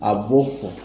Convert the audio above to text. A b'o fɔ